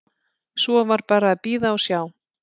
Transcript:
Svo var bara að bíða og sjá.